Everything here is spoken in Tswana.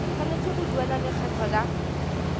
tshwanetse go duela lekgetho la